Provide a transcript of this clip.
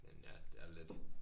Men ja det er lidt